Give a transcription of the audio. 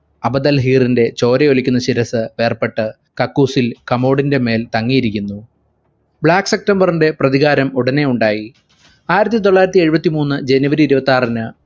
അബദൽ ഹീറിന്റെ ചോരയൊലിക്കുന്ന ശിരസ്സ് വേർപ്പെട്ട് കക്കൂസിൽ കമോടിന്റെ മേൽ തങ്ങിയിരിക്കുന്നു black september ന്റെ പ്രതികാരം ഉടനെ ഉണ്ടായി ആയിരത്തി തൊള്ളായിരത്തി എഴുപത്തി മൂന്ന് january ഇരുപത്താറിന്